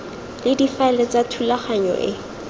le difaele tsa thulaganyo e